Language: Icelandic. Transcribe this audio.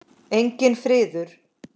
Enginn friður.